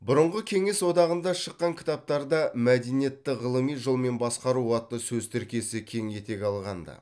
бұрынғы кеңес одағында шыққан кітаптарда мәдениетті ғылыми жолмен басқару атты сөз тіркесі кең етек алған ды